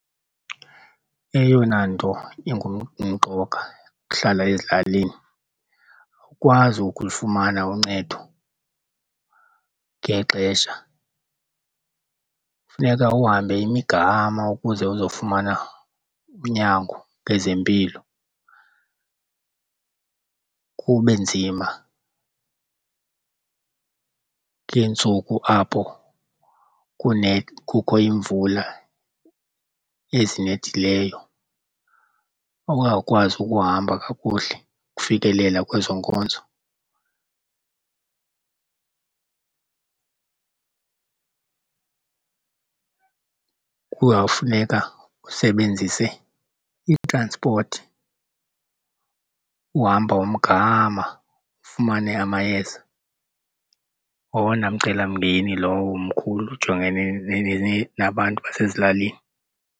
Eyona nto imqoka ukuhlala ezilalini, awukwazi ukulufumana uncedo ngexesha, kufuneka uhambe imigama ukuze uzofumana unyango ngezempilo. Kube nzima ngeentsuku apho kukho iimvula ezinethileyo ungakwazi ukuhamba kakuhle ukufikelela kwezo nkonzo, kuzawungafuneka usebenzise itranspothi uhamba womgama ufumane amayeza. Ngowona mcelamngeni lowo mkhulu ujongene nabantu basezilalini.